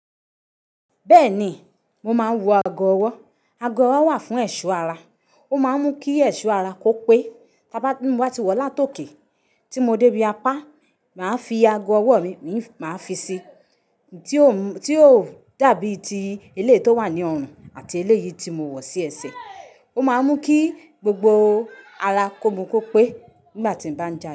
Bẹ́ẹ̀ni, mo máa ń wọ ago ọwọ́. Ago ọwọ́ wà fún ẹ̀ṣọ́ ara. Ó máa ń mú kí ẹ̀ṣọ́ ara kó pé. Ta bá mmaa ti wọ lá tòkè, tí mo dé bí apá, màá fi ago ọwọ́ mi, mi máa fi si. Tí ó dàbí ti ele tó wà ní ọrùn àti eléyìí tí mo wọ̀ sí ẹsẹ̀. Ó máa ń mú kí gbogbo ara kó mu kó pé nígbà tí ń bá ń já.